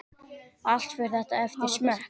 Allt fer þetta eftir smekk.